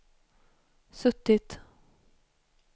suttit